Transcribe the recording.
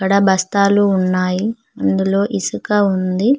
ఆ బస్తాలు ఉన్నాయి అందులో ఇసుక ఉంది.